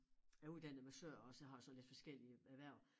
Jeg uddannet massør også og har sådan lidt forskellige erhverv